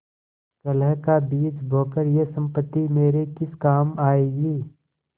कलह का बीज बोकर यह सम्पत्ति मेरे किस काम आयेगी